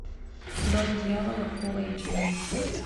дом дьявола фул эйч ди